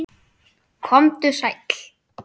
Komdu sæll.